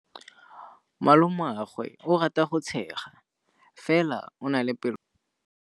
Malomagwe o rata go tshega fela o na le pelo e e bosula.